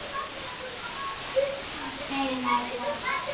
Heima er best.